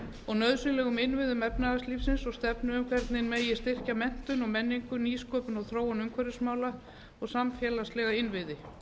og nauðsynlegum innviðum efnahagslífsins og stefnu um hvernig megi styrkja menntun og menningu nýsköpun og þróun umhverfismála og samfélagslega innviði